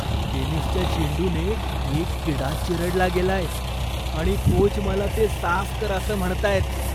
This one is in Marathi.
टेनिसच्या चेंडूने एक किडा चिरडला गेलाय आणि कोच मला ते साफ कर असं म्हणतायेत.